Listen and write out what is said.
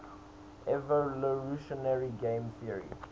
evolutionary game theory